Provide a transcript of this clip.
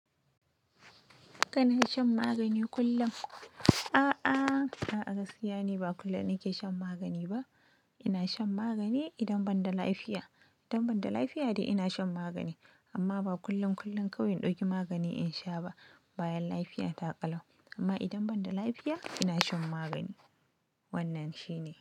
Kana shan magani kullum?, Ah! Ah!, A'a gaskiya ni ba kullum nake shan magani ba. Ina shan magani idan ban da lafiya. Idan ban da lafiya dai ina shan magani, amma ba kullun kullun kawai in ɗauki magani in sha ba. Bayan lafiya ta ƙalau. Amma idan ban da lafiya ina shan magani. Wannan shine.